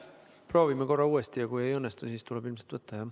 Proovime korra uuesti ja kui ei õnnestu, siis tuleb ilmselt võtta, jah.